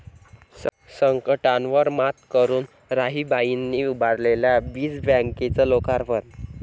संकटांवर मात करून राहीबाईंनी उभारलेल्या बीज बँकेचं लोकार्पण